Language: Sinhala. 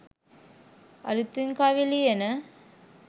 අලුතින් කවි ලියන